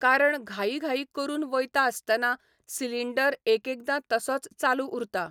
कारण घाई घाई करून वयता आसतना, सिलिंडर एकएकदां तसोच चालू उरता.